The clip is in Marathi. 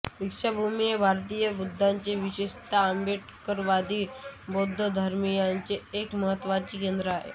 दीक्षाभूमी हे भारतीय बौद्धांचे विशेषतः आंबेडकरवादी बौद्ध धर्मीयांचे एक महत्त्वाचे केंद्र आहे